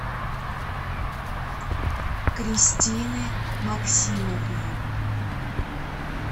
кристины максимовны